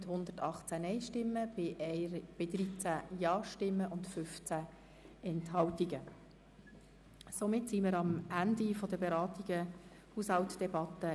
Damit sind wir am Ende der Haushaltsdebatte betreffend die JGK angelangt.